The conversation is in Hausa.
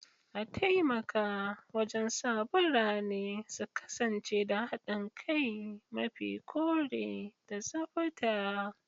A taimaka wajen sa birane su kasance da haɗin kai, mafi kore, da tsabta.